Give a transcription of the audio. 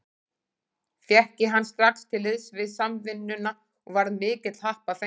Fékk ég hann strax til liðs við Samvinnuna og var mikill happafengur.